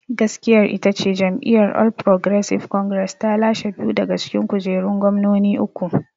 Gaskiyar ita ce, jam'iyyar All Progressive Congress ta lashe biyu daga cikin kujerun gwamnoni uku.